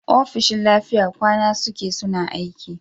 ofishin lafiya kwan suke suna aiki